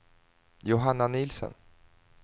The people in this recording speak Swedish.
Johanna Nielsen